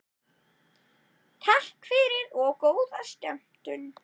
Takk fyrir og góða skemmtun.